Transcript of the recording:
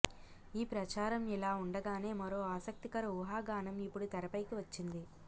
ఈ ప్రచారం ఇలా ఉండగానే మరో ఆసక్తికర ఊహాగానం ఇప్పుడు తెర పైకి వచ్చింది